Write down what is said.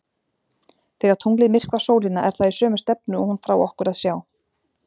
Þegar tunglið myrkvar sólina er það í sömu stefnu og hún frá okkur að sjá.